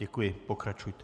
Děkuji, pokračujte.